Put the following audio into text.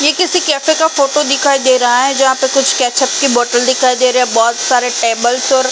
ये किसी केफे का फोटो दिखाई दे रहा है जहा पे कुछ केचप की बोटल दिखाई दे रही है बहोत सारे टेबल्स और --